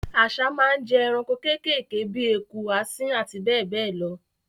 Àsá máa n jẹ eranko kékèké bi eku, asín àti bẹ́ẹ̀ bẹ́ẹ̀ lo